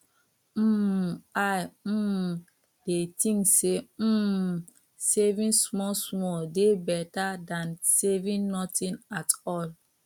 um i um dey think say um saving small small dey beta than saving nothing at all